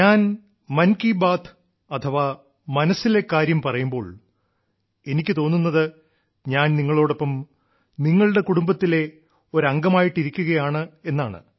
ഞാൻ മൻ കി ബാത്ത് അഥവാ മനസ്സിലെ കാര്യം പറയുമ്പോൾ എനിക്കു തോന്നുന്നത് ഞാൻ നിങ്ങളോടൊപ്പം നിങ്ങളുടെ കുടുംബത്തിലെ ഒരു അംഗമായിട്ടിരിക്കുകയാണെന്നാണ്